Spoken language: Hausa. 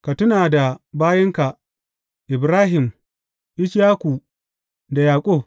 Ka tuna da bayinka Ibrahim, Ishaku da Yaƙub.